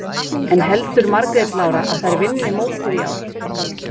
En heldur Margrét Lára að þær vinni mótið í ár?